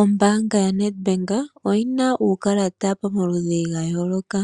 Ombanga ya NedBank oyina uukalata pamaludhi ga yooloka,